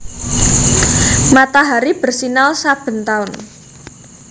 Matahari bersinar saben taun